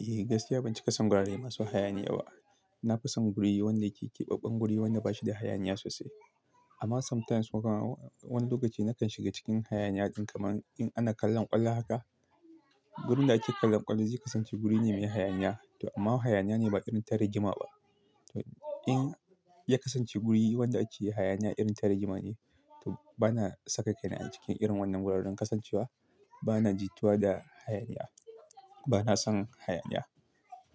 Eh, gaskiya ban cika son wurare masu hayaniya ba. Na fi son guri wanda yake keɓaɓɓen guri wanda ba shi da hayaniya sosai. Amma sometimes wata wani lokaci na kan shiga cikin hayaniya ɗin kamar in ana kallon ƙwallo haka. Gurin da ake kallon ƙwallo zai kasance guri ne mai hayaniya to amma hayaniya ne ba irin ta rijima ba. To in ya kasance guri wanda ake hayaniya irin ta rijima ne, to bana saka kaina a cikin irin wannan wuraren kasancewa. Bana jituwa da hayaniya. Bana son hayaniya.